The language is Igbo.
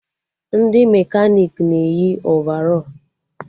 Ndị mekanik na-eyi ovarọl